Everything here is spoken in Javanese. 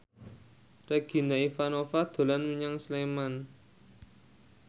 Regina Ivanova dolan menyang Sleman